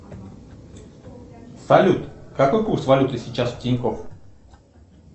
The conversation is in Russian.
салют какой курс валюты сейчас в тинькофф